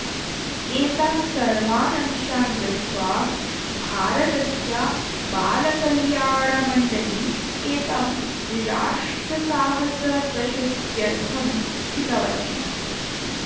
एतान् सर्वाण् अंशान् दृष्ट्वा भारतस्य बालकल्याणमण्डली एतं राष्ट्रसाहसप्रशस्त्यर्थं चितवती